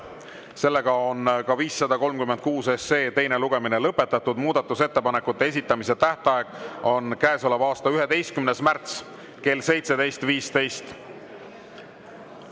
536 teine lugemine on lõpetatud, muudatusettepanekute esitamise tähtaeg on käesoleva aasta 11. märts kell 17.15.